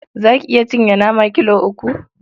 Za ki iya cinye nama kilo uku?